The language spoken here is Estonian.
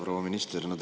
Proua minister!